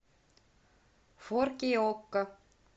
фор кей окко